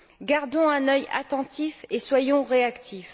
Gardons un œil attentif et soyons réactifs.